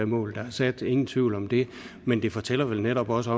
mål der er sat ingen tvivl om det men det fortæller vel netop også